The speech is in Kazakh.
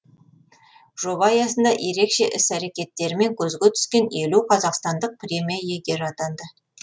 жоба аясында ерекше іс әрекеттерімен көзге түскен елу қазақстандық премия иегері атанды